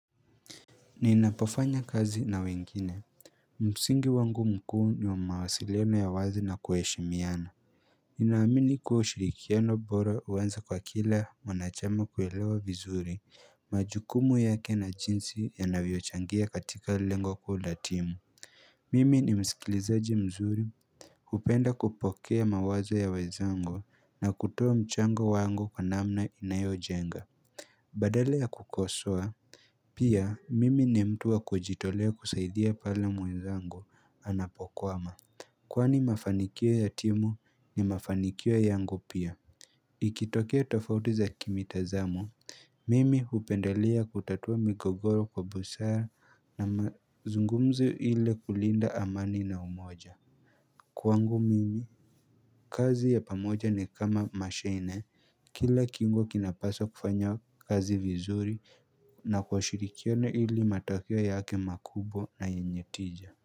Ninapafanya kazi na wengine Musingi wangu mkuu ni wa mawasiliano ya wazi na kuheshimiana Ninaamini kuwa ushirikiano bora uanza kwa kila mwanachama kuelewa vizuri majukumu yake na jinsi yanavyo changia katika lengo kuu la timu Mimi ni msikilizaji mzuri upenda kupokea mawazo ya wezangu na kutoa mchango wangu kwa namna inayojenga Badala ya kukosoa, pia mimi ni mtu wa kujitolea kusaidia pala mwenzangu anapokwama Kwani mafanikio ya timu ni mafanikio yangu pia Ikitokea tofauti za kimitazamo, mimi hupendelia kutatua migogoro kwa busara na mazungumzo ile kulinda amani na umoja Kwangu mimi, kazi ya pamoja ni kama mashine Kila kiungo kinapasa kufanya kazi vizuri na kwa ushirikiano ili matokeo yake makubwa na yenye tija.